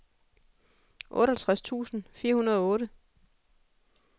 otteogtres tusind fire hundrede og otte